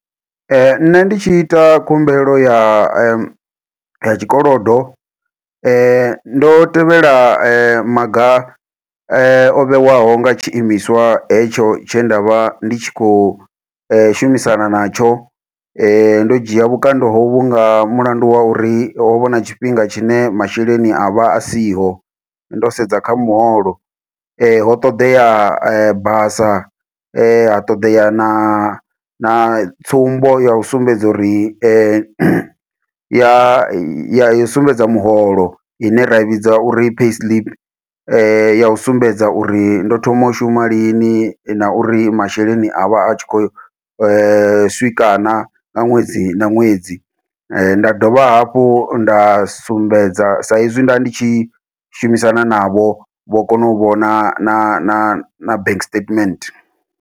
Nṋe ndi tshi ita khumbelo ya ya tshikolodo, ndo tevhela maga ovhewaho nga tshi imiswa hetsho tshe ndavha ndi tshi khou shumisana natsho. Ndo dzhia vhukando hovhu nga mulandu wa uri, ho vha hu na tshifhinga tshine masheleni a vha a siho, ndo sedza kha muholo. ho ṱoḓea basa ha ṱoḓea na na tsumbo ya u sumbedza uri, ya u sumbedza miholo. Ine ra i vhidza uri payslip ya u sumbedza uri ndo thoma u shuma lini, na uri masheleni a vha a tshi khou swika na nga ṅwedzi na ṅwedzi. Nda dovha hafhu nda sumbedza, sa izwi nda ndi tshi shumisana navho, vho kona u vhona na na na bank statement.